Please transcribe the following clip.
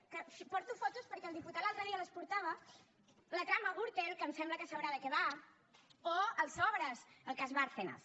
que porto fotos perquè el diputat l’altre dia les portava la trama gürtel que em sembla que sabrà de què va o els sobres el cas bárcenas